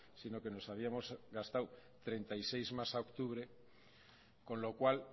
sino que nos habíamos gastado treinta y seis más a octubre con lo cual